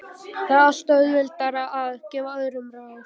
Það er alltaf auðveldara að gefa öðrum ráð.